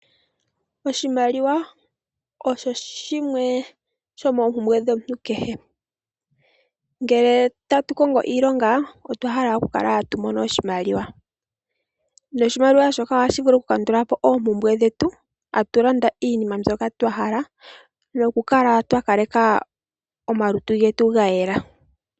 Oshimaliwa osho shimwe shoompumbwe dhomuntu kehe. Ngele tatu kongo iilonga otwa hala okukala tatu mono oshimaliwa. Noshimaliwa shoka ohashi vulu okukandula po oompumbwe dhetu. Tatu landa iinima mbyoka twa hala nokukaleka omalutu getu ga yela.